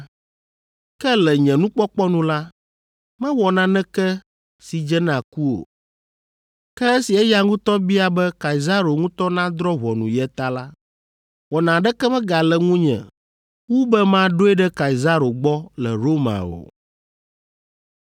Ke le nye nukpɔkpɔ nu la, mewɔ naneke si dze na ku o. Ke esi eya ŋutɔ bia be Kaisaro ŋutɔ nadrɔ̃ ʋɔnu ye ta la, wɔna aɖeke megale ŋunye wu be maɖoe ɖe Kaisaro gbɔ le Roma o.